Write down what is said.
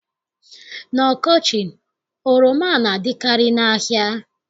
N'ọkọchị, oroma na-adịkarị n'ahịa.